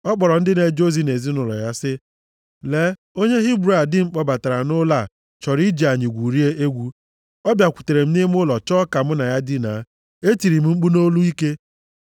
ọ kpọrọ ndị na-eje ozi nʼezinaụlọ ya sị ha, “Lee, onye Hibru a di m kpọbatara nʼụlọ a chọrọ iji anyị gwurie egwu. Ọ bịakwutere m nʼime ụlọ chọọ ka mụ na ya dinaa. E tiri m mkpu nʼolu ike.